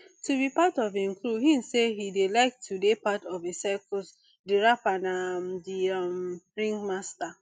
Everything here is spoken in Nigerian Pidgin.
to be part of im crew im say e dey like to dey part of a circus di rapper na um di um ringmaster